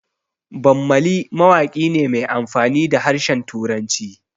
Bammali mawaƙi ne mai amfani da harshen Turanci